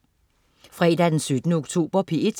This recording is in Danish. Fredag den 17. oktober - P1: